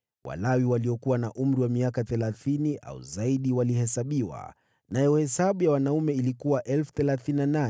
Walawi waliokuwa na umri wa miaka thelathini au zaidi walihesabiwa, nayo hesabu ya wanaume ilikuwa 38,000.